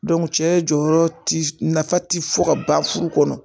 cɛ jɔyɔrɔ ti nafa ti fɔ ka ban furu kɔnɔ